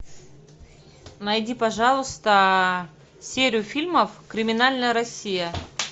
найди пожалуйста серию фильмов криминальная россия